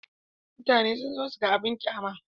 Mutane sun zo su ga abin ƙyama.